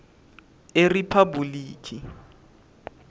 eriphabhulikhi